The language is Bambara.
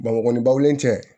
Bamakɔlen cɛ